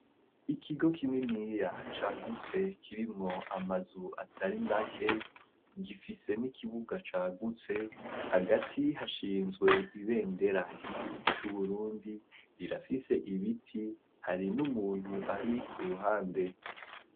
Ikigo kininiya cagutse, kirimwo amazu atari make, gifise n'ikibuga cagutse ; hagati hashinzwe ibendera ry'igihugu c'Uburundi; rirafise ibiti, hari n'umuntu ari ku ruhande.